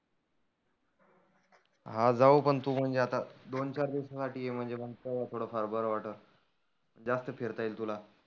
हा जाऊ पण तु म्हणजे आता दोन चार दिवसा साठी ये म्हणजे मग थोड फार बरं वाटेल. जास्त फिरता येईल तुला.